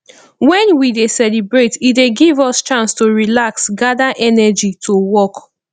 wen we dey celebrate e dey give us chance to relax gada energy to work